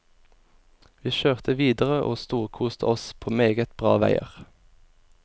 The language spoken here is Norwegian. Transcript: Vi kjørte videre og storkoste oss på meget bra veier.